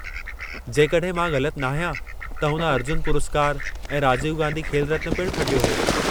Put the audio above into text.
जेकड॒हिं मां ग़लति नाहियां त हुन अर्जुन पुरस्कार ऐं राजीव गांधी खेल रत्न पिण खटियो हो।